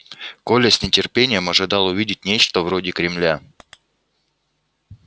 коля с нетерпением ожидал увидеть нечто вроде кремля